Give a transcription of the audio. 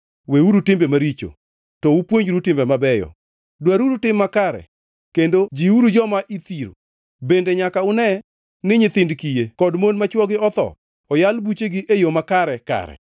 Weuru timbeu maricho; to upuonjru timbe mabeyo! Dwaruru tim makare, kendo jiwuru joma ithiro. Bende nyaka une ni nyithind kiye kod mon ma chwogi otho oyal buchegi e yo makare kare.